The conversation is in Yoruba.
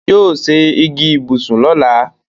Yóò se igi ìbùsùn lọ̀la.